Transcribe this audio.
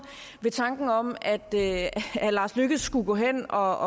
ved tanken om at herre lars løkke rasmussen skulle gå hen og